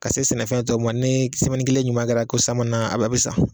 Ka se sɛnɛfɛn tɔw ma ni kelen ɲuman kɛra ko san mana a be sa